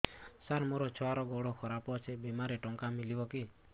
ସାର ମୋର ଛୁଆର ଗୋଡ ଖରାପ ଅଛି ବିମାରେ ଟଙ୍କା ମିଳିବ କି